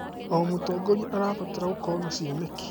O mũtongoria abataraga gũkorwo na cioneki.